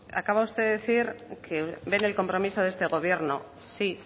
acaba usted de decir que ven el compromiso de este gobierno sí